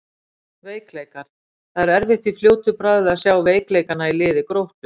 Veikleikar: Það er erfitt í fljótu bragði að sjá veikleikana í liði Gróttu.